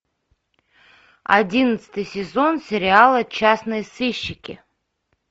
одиннадцатый сезон сериала частные сыщики